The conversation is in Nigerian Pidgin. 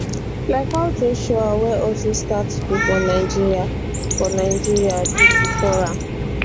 like how joshua wey also start school for nigeria for nigeria do bifor am